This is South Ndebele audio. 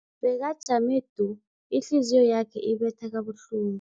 Bekajame du, ihliziyo yakhe ibetha kabuhlungu.